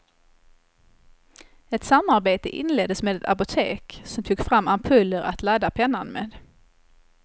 Ett samarbete inleddes med ett apotek, som tog fram ampuller att ladda pennan med.